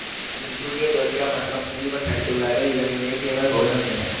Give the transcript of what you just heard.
இதில் சூர்யா ஜோதிகா மற்றும் ஜீவன் நடித்துள்ளார்கள் இதனை இயக்கியவர் கௌதம் மேனன்